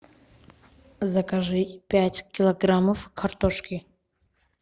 закажи пять килограммов картошки